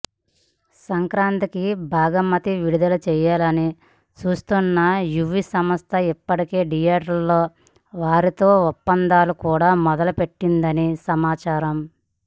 సంక్రాంతికి భాగమతి విడుదల చేయాలని చూస్తోన్న యువి సంస్థ ఇప్పటికే థియేటర్ల వారితో ఒప్పందాలు కూడా మొదలు పెట్టిందని సమాచారం